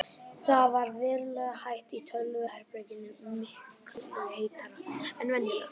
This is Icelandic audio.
Það ver verulega heitt í tölvuherberginu, miklu heitara en venjulega.